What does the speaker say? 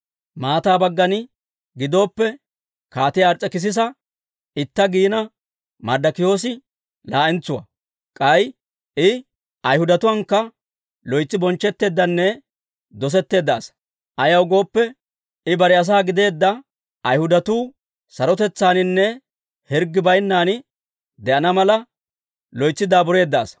Maataa baggan gidooppe, Kaatiyaa Ars's'ekisisa itta giina, Marddokiyoosi laa'entsuwaa. K'ay I Ayhudatuwaankka loytsi bonchchetteeddanne dosetteedda asaa; ayaw gooppe, I bare asaa gideedda Ayhudatuu, sarotetsaaninne hirggi baynnan de'ana mala, loytsi daabureedda asaa.